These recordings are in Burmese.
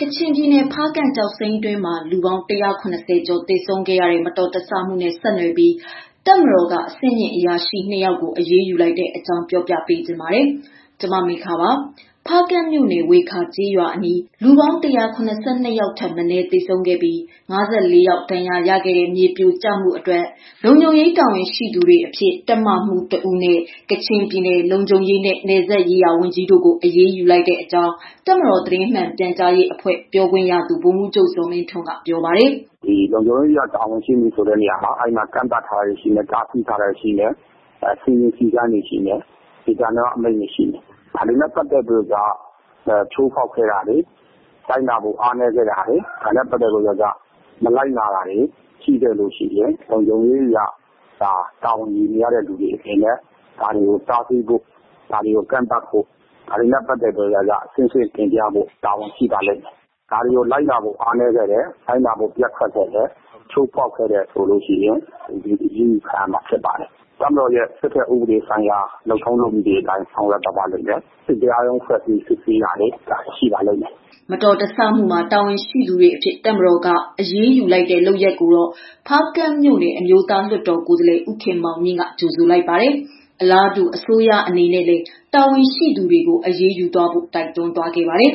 ကချင်ပြည်နယ် ဖားကန့်ကျောက်စိမ်းတွင်းမှာ လူပေါင်း ၁၇၀ ကျော် သေဆုံးခဲ့ရတဲ့ မတော်တဆမှုနဲ့ ဆက်နွယ်ပြီး တပ်မတော်က အဆင့်မြင့် အရာရှိ နှစ် ယောက်ကို အရေးယူလိုက်တဲ့အကြောင်း ပြောပြပေးချင်ပါတယ်။ ဗွီအိုအေမြန်မာပိုင်း သတင်းထောက် မမေခက သတင်းပေးပို့ထားပါတယ်။ ဖားကန့်မြို့နယ် ဝှေခါကျေးရွာအနီး ကျောက်စိမ်းလုပ်ကွက်မှာ လူပေါင်း ၁၇၂ ယောက်ထက်မနည်း သေဆုံးပြီး၊ ၅၄ ယောက် ဒဏ်ရာရခဲ့တဲ့ မြေပြိုကျမှုအတွက် လုံခြုံရေးတာဝန်ရှိသူတွေအဖြစ် တပ်မှူး တဦးနဲ့ ကချင်ပြည်နယ် လုံခြုံရေးနဲ့ နယ်စပ်ရေးရာဝန်ကြီးတို့ကို အရေးယူလိုက်ကြောင်း တပ်မတော် သတင်းမှန်ပြန်ကြားရေးအဖွဲ့ ပြောခွင့်ရသူ ဗိုလ်မှူးချုပ် ဇော်မင်းထွန်းက ပြောပါတယ်။ "လုံခြုံရေးအရ တာဝန်ရှိသူနေရာမှာ အဲနေရာမှာ ကန့်သတ်ထားတာ၊ တားမြစ်ထားတာ၊ စည်းမျဉ်းစည်းကမ်းဒေသန္တရ အမိန့်တွေ ရှိမယ်။ ဒါတွေနဲ့ပတ်သတ်လို့ ချိုးဖောက်ခဲ့တာတွေ၊ လိုက်နာဖို့ အားနည်းခဲ့တာတွေ၊ မလိုက်နာတာတွေ၊ လုံခြုံရေးအရ တာဝန်ယူနေရသူတွေအနေနဲ့ ဒါတွေကို တားဆီးဖို့၊ ကန့်သတ်ဖို့ ဒါတွေနဲ့ပတ်သတ်လို့ အဆင့်ဆင့်တင်ပြရမှာတွေရှိပါလိမ့်မယ်။ ဒါတွေကို လိုက်နာဖို့ အားနည်းခဲ့တယ်။ လိုက်နာဖို့ ပျက်ကွက်ခဲ့တယ်။ ချိုးဖောက်ခဲ့တယ်ဆိုရင် အရေးယူခံရမှာဖြစ်ပါတယ်။ တပ်မတော်ရဲ့ စစ်ဘက် လုပ်ထုံးလုပ်နည်းအတိုင်း ဆောင်ရွက်သွားပါလိမ့်မယ်။ စစ်တရား ရုံးဖွဲ့စစ်ဆေးတာတွေ ရှိပါလိမ့်မယ်။" မတော်တဆမှုမှာ တာဝန်ရှိသူတွေအဖြစ် တပ်မတော်က အရေးယူလိုက်တဲ့ လုပ်ရပ်ကိုတော့ ဖားကန့်မြို့နယ် အမျိုးသားလွှတ်တော် ကိုယ်စားလှယ် ဦးခင်မောင်မြင့်ကတော့ ကြိုဆိုလိုက်ပါတယ်။ အလားတူ အစိုးရအနေနဲ့လည်း တာဝန်ရှိတဲ့သူတွေကို အရေးယူဖို့လည်း တိုက်တွန်းခဲ့တာပါ။ "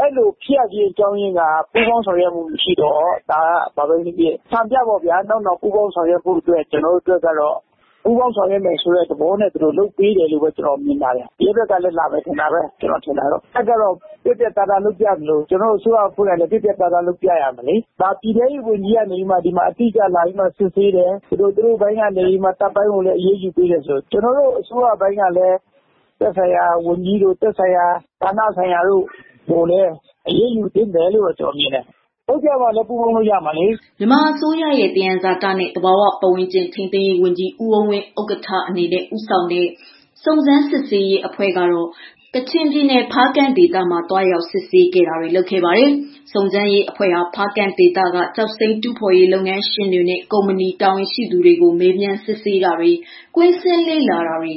အဲလိုဖြစ်ရတာက ပူးပေါင်းဆောင်ရွက်မှု မရှိလို့ အဲတော့နောက်နောင်စံပြအနေနဲ့ ပူးပေါင်းဆောင်ရွက်အောင် ပူးပေါင်းဆောင်ရွက်မယ်ဆိုတဲ့သဘောနဲ့ လုပ်ပေးတယ်လို့ ကျနော်မြင်ပါတယ်။ ရဲဘက်ကလည်း လာမယ်ထင်တယ်။ တပ်ကတော့ ပြတ်ပြတ်သားသားလုပ်ပြသလိုကျနော်တို့ ရဲဘက်ကလည်း ပြတ်ပြတ်သားသား လုပ်ပြရမယ်လေ။ ပြည်တဲရေးဘက်က လာစစ်တယ်၊ တပ်ဘက်ကို တိတိကျကျ အရေးယူပေးတယ်။ ကျနော်တို့ အစိုးရဘက်ပိုင်းကလည်း သက်ဆိုင်ရာဝန်ကြီး၊ သက်ဆိုင်ရာဌာနဆိုင်ရာတွေကို အရေးယူပြဖို့လိုတယ်။ လုပ်ပြမှလည်း ပူးပေါင်းလို့ရမှာလေ။" မြန်မာအစိုးရရဲ့ သယံဇာတနဲ့ သဘာဝပတ်ဝန်းကျင် ထိန်းသိမ်းရေးဝန်ကြီး ဦးအုန်းဝင်း ဥက္ကဋ္ဌအဖြစ် ဦးဆောင်တဲ့ စုံစမ်းစစ်ဆေးရေး အဖွဲ့ကတော့ မတော်တဆမှုနဲ့ ပတ်သက်လို့ ကချင်ပြည်နယ် ဖားကန့်ဒေသမှာ သွားရောက် စစ်ဆေးခဲ့တာပါ။ စုံစမ်းရေးအဖွဲ့ဟာ ဖားကန့်ဒေသက ကျောက်စိမ်းတူးဖော်ရေး လုပ်ငန်းရှင်တွေနဲ့ ကုမ္ပဏီတာဝန်ရှိသူတွေကို မေးမြန်းစစ်ဆေးတာတွေ၊ ကွင်းဆင်းလေ့လာတာတွေ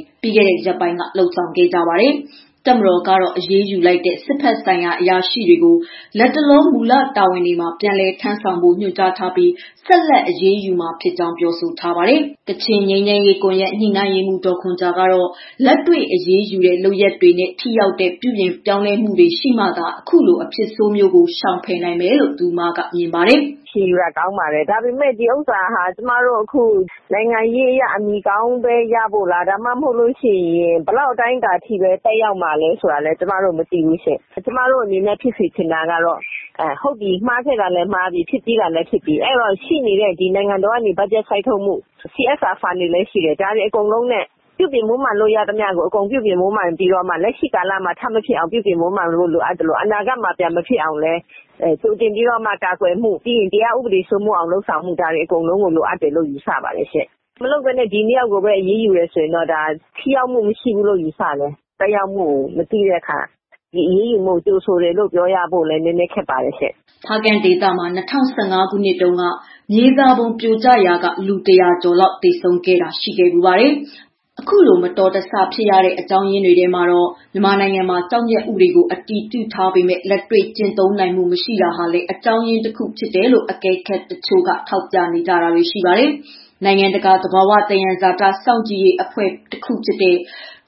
လုပ်ခဲ့ကြပါတယ်။ တပ်မတော်ကတော့ အရေးယူလိုက်တဲ့ စစ်ဘက်ဆိုင်ရာ အရာရှိတွေကို လတ်တလောမူလတာဝန်တွေမှာ ပြန်လည်တာဝန်ထမ်းဆောင်ဖို့ ညွှန်ကြားထားပြီး ဆက်လက်အရေးယူသွားမှာဖြစ်ကြောင်း ပြောဆိုထားပါတယ်။ ကချင်ငြိမ်းချမ်းရေးကွန်ရက် ညှိနှိုင်းရေးမှူး ဒေါ်ခွန်ဂျာကတော့ လက်တွေ့အရေးယူတဲ့ လုပ်ရပ်တွေနဲ့ ထိရောက်တဲ့ ပြုပြင်ပြောင်းလဲမှုတွေ ရှိမှသာ အခုလို အဖြစ်ဆိုးမျိုးကို ရှောင်ရှားနိုင်မယ်လို့ မြင်ပါတယ်။ "အက်ရှင်ယူတာကောင်းပါတယ်။ ဒီဥစ္စာက နိုင်ငံရေးအရ အမည်ကောင်းပဲ ရဖို့လား၊ ဘယ်လောက်အတိုင်းအတာထိ သက်ရောက်မှာလဲဆိုတာ ကျမတို့ မသိဘူးရှင့်။ ကျမတို့ အနေနဲ့ ဖြစ်စေချင်တာကတော့ မှားတဲ့ဟာ မှားပြီးပြီ။ ရှိနေတဲ့ နိုင်ငံတော်ဘက်က ဘတ်ဂျက် စိုက်ထုတ်မှု၊ CSR ဖန်တွေလည်း ရှိတယ်။ ဒါတွေအကုန်လုံးနဲ့ ပြုပြင်မွမ်းမံလို့ရသမျှအ ကုန်ပြုပြင်မွမ်းမံပြီးတော့ လက်ရှိမှာ ထပ်မဖြစ်ဖို့ လုပ်သလို အနာဂတ်မှာ မဖြစ်အောင် လုပ်ဆောင်ဖို့ ကာကွယ်မှုတွေ လုပ်ဖို့နဲ့ တရားဥပဒေတွေ စိုးမိုးအောင်လုပ်ဖို့ လိုပါတယ်ရှင့်။ မလုပ်ဘဲ ဒီ နှစ်ယောက်ပဲ အရေးယူရင်တော့ ထိရောက်မှု မရှိဘူး ယူဆတယ်။ သက်ရောက်မှု မသိတဲ့အခါ အရေးယူမှုကို ကြိုဆိုတယ်လို့ ပြောဖို့လည်းနည်းနည်းခက်ပါတယ်ရှင့်။" ဖားကန့်ဒေသမှာ ၂၀၁၅ ခုနှစ်တုန်းကလည်း မြေစာပုံပြိုကျရာမှ လူ ၁၀၀ လောက် သေဆုံးခဲ့ဖူးပါတယ်။ အခုလို မတော်တဆမှုတွေ ဖြစ်ရတဲ့ အကြောင်းရင်းတွေထဲမှာတော့ မြန်မာနိုင်ငံမှာ ကျောက်မျက်ဥပဒေကို အတည်ပြုထားပေမဲ့ လက်တွေ့ ကျင့်သုံးနိုင်မှု မရှိတာဟာလည်း အကြောင်းရင်းတခုအဖြစ်နဲ့ အကဲခတ်တချို့က ထောက်ပြနေကြတာပါ။ နိုင်ငံတကာ သဘာဝသယံဇာတ စောင့်ကြည့်ရေးအဖွဲ့တခုဖြစ်တဲ့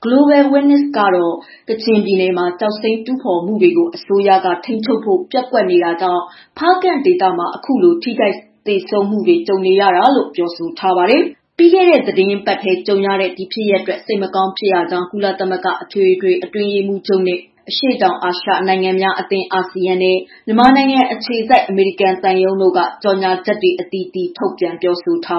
Global Witness ကတော့ ကချင်ပြည်နယ်မှာ ကျောက်စိမ်းတူးဖော်မှုတွေကို အစိုးရက ထိန်းချုပ်ဖို့ ပျက်ကွက်နေတာကြောင့် ဖားကန့်ဒေသမှာ အခုလို ထိခိုက်သေဆုံးမှုတွေ ကြုံနေရတာလို့ ပြောပါတယ်။ ပြီးခဲ့တဲ့ သီတင်းပတ်ထဲ ကြုံခဲ့ရတဲ့ ဖြစ်ရပ်အတွက် စိတ်မကောင်းဖြစ်ရကြောင်း ကုလသမဂ္ဂ အတွင်းရေးမှူးချုပ်၊ အရှေ့တောင်အာရှ နိုင်ငံများအသင်း အာဆီယံနဲ့ မြန်မာနိုင်ငံ အခြေစိုက် အမေရိကန်သံရုံးတို့ကလည်း ကြေညာချက်တွေ အသီးသီး ထုတ်ပြန်ပြောဆိုထား